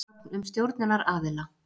Gögn um stjórnunaraðila.